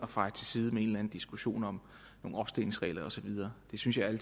feje til side med en diskussion om nogle opstillingsregler og så videre det synes jeg ærlig